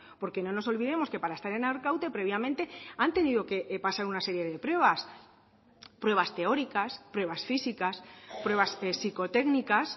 porque no nos olvidemos que para estar en arkaute previamente han tenido que pasar una serie de pruebas pruebas teóricas pruebas físicas pruebas psicotécnicas